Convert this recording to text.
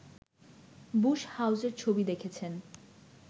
Bush হাউসের ছবি দেখেছেন